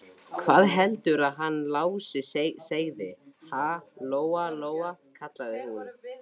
Hvað heldurðu að hann Lási segði, ha, Lóa Lóa, kallaði hún.